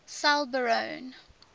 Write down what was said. selborne